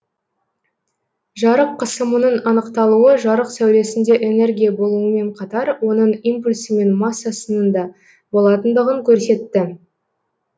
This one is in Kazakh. жарық қысымының анықталуы жарық сәулесінде энергия болуымен қатар оның импульсі мен массасының да болатындығын көрсетті